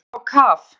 Þeir fara á kaf.